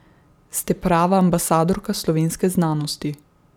Ste prava ambasadorka slovenske znanosti.